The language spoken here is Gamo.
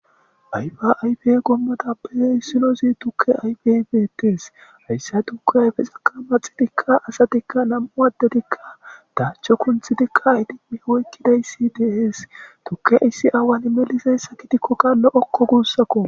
Ayfa ayfe qomotappe issinozi tuke ayfey beetes haysa tuke ayfezaka maxidika asati nam'u addetika dacho kunthidika oykidaysi de'es haysi awan melizaysa gidikoka lo'oko gusako